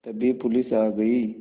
तभी पुलिस आ गई